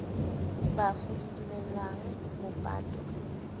bafu le dumellang ho patwa